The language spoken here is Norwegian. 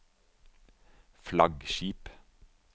flaggskip